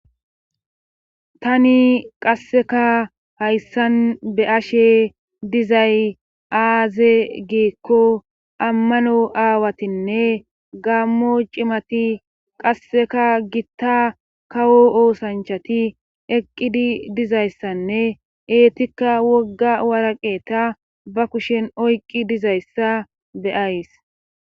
tani qasseka hayssan be ashe dizay aaze giekko ammano aawatinne gaammo cimati qasseka gitta kawo oosanchati eqqidi dizayssanne eetikka wogga waraqeta ba kushen oyqqi dizayssa be ays